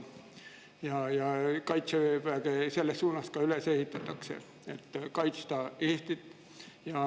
Kaitseväge selles vaimus ka üles ehitatakse, et kaitsta Eestit.